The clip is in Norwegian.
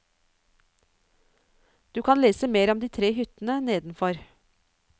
Du kan lese mer om de tre hyttene nedenfor.